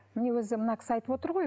міне өзі мына кісі айтып отыр ғой